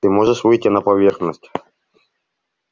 ты можешь выйти на поверхность